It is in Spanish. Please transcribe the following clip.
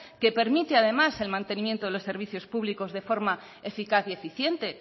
que permite además el mantenimiento de los servicios públicos de forma eficaz y eficiente